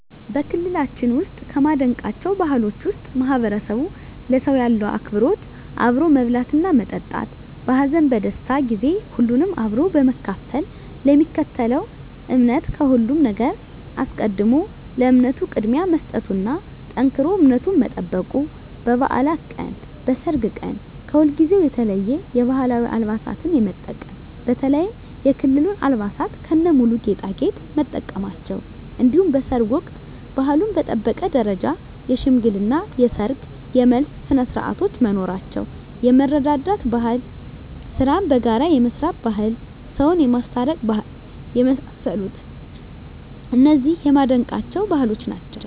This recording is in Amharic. በክልላችን ውስጥ ከማደንቃቸው ባህሎች ውስጥ ማህበረሰቡ ለሰው ያለው አክብሮት አብሮ መብላትና መጠጣት በሀዘን በደስታ ጊዜ ሁሉንም አብሮ በመካፈል ለሚከተለው እምነት ከሁሉም ነገር አስቀድሞ ለእምነቱ ቅድሚያ መስጠቱና ጠንክሮ እምነቱን መጠበቁ በባዕላት ቀን በሰርግ ቀን ከሁልጊዜው የተለየ የባህላዊ አልባሳትን የመጠቀም በተለይም የክልሉን አልባሳት ከነሙሉ ጌጣጌጥ መጠቀማቸው እንዲሁም በሰርግ ወቅት ባህሉን በጠበቀ ደረጃ የሽምግልና የሰርግ የመልስ ስነስርዓቶች መኖራቸው የመረዳዳት ባህል ስራን በጋራ የመስራት ባህል ሰውን የማስታረቅ ባህል የመሳሰሉት እነዚህ የማደንቃቸው ባህሎች ናቸዉ።